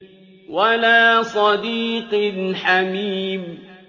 وَلَا صَدِيقٍ حَمِيمٍ